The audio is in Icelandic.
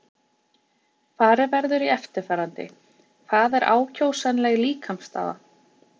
Farið verður í eftirfarandi: Hvað er ákjósanleg líkamsstaða?